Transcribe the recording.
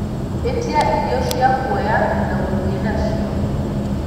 ĩtĩa ĩrĩo cĩa kũoya na guthii nacio